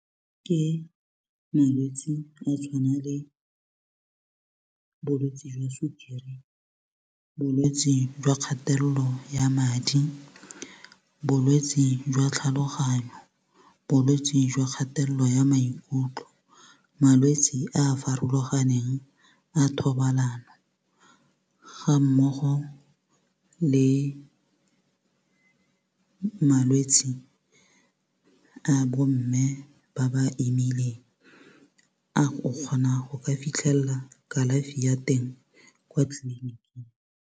Ke malwetsi a tshwana le bolwetsi jwa sukiri bolwetsi jwa kgatello ya madi bolwetsi jwa tlhaloganyo bolwetsi jwa kgatello ya maikutlo malwetsi a a farologaneng a thobalano ga mmogo le malwetsi a bomme ba ba imileng a go kgona go ka fitlhella kalafi ya teng kwa tleliniking.